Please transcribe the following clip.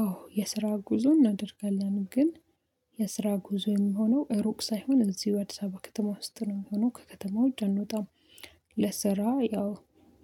አዎ፤ የስራ ጉዞ እናደርጋለን። ግን የስራ ጉዞ የሚሆነው ሩቅ ሳይሆን እዚሁ አዲስ አበባ ከተማ ውስጥ ነው የሚሆነው፤ ከከተማው ውጭ እንወጣም። ለስራ ያው